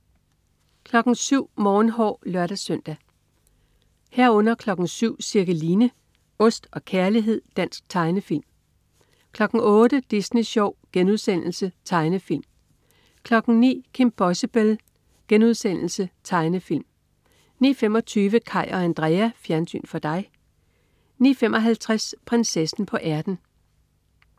07.00 Morgenhår (lør-søn) 07.00 Cirkeline. Ost og kærlighed. Dansk tegnefilm 08.00 Disney Sjov.* Tegnefilm 09.00 Kim Possible.* Tegnefilm 09.25 Kaj og Andrea. Fjernsyn for dig 09.55 Prinsessen på ærten